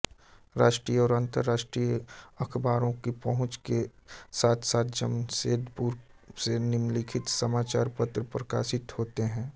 राष्ट्रीय और अंतर्राष्ट्रीय अखबारों की पहुँच के साथसाथ जमशेदपुर से निम्नलिखित समाचारपत्र प्रकाशित होते हैं